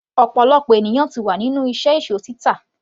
ọ̀pọ̀lọpọ̀ ènìyàn ti wà nínú iṣẹ́ èsó títà